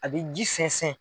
A bɛ ji sɛnsɛn.